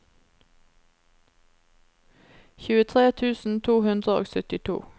tjuetre tusen to hundre og syttito